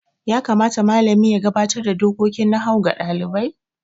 Ya kamata malami ya gabatar da dokokin nahawu ga ɗalibai?